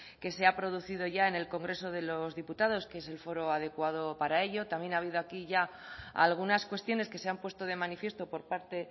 que se ha producido ya en el congreso de los diputados que es el foro adecuado para ello también ha habido aquí ya algunas cuestiones que se han puesto de manifiesto por parte